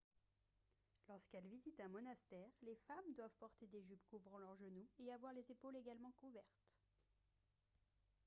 lorsqu'elles visitent un monastère les femmes doivent porter des jupes couvrant leurs genoux et avoir les épaules également couvertes